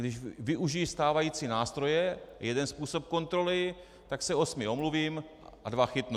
Když využiji stávající nástroje, jeden způsob kontroly, tak se osmi omluvím a dva chytnu.